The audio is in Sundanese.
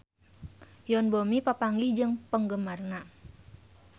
Yoon Bomi papanggih jeung penggemarna